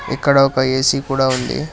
ఇక్కడ ఒక ఏ_సీ కూడా ఉంది